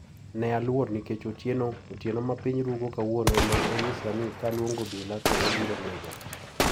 Ne aluor nikech otieno ma piny rugo kawuono ne onyisa ni kaluongo obila to obiro nega.